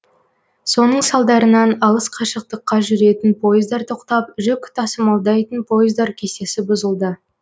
соның салдарынан алыс қашықтыққа жүретін пойыздар тоқтап жүк тасымалдайтын пойыздар кестесі бұзылды